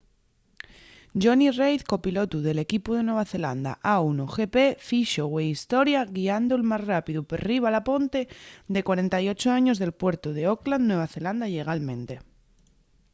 jonny reid copilotu del equipu de nueva zelanda a1gp fixo güei historia guiando’l más rápidu perriba la ponte de 48 años del puertu d’auckland nueva zelanda llegalmente